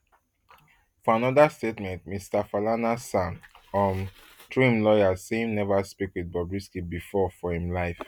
for anoda statement mr falana san um through im lawyers say im neva speak wit bobrisky bifor for im life